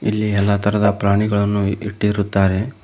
ಇಲ್ಲಿ ಎಲ್ಲಾ ತರದ ಪ್ರಾಣಿಗಳನ್ನು ಇಟ್ಟಿರುತ್ತಾರೆ.